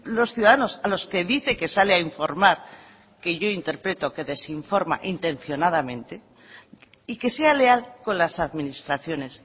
los ciudadanos a los que dice que sale a informar que yo interpreto que desinforma intencionadamente y que sea leal con las administraciones